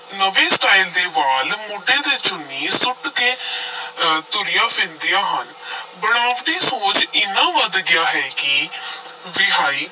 ਨਵੇਂ style ਦੇ ਵਾਲ, ਮੋਢੇ ਤੇ ਚੁੰਨੀ ਸੁੱਟ ਕੇ ਅਹ ਤੁਰੀਆਂ ਫਿਰਦੀਆਂ ਹਨ ਬਣਾਵਟੀ ਸੋਹਜ ਇੰਨਾ ਵੱਧ ਗਿਆ ਹੈ ਕਿ ਵਿਆਹੀ